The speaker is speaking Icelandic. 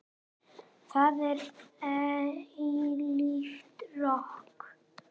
Það er eilíft rok.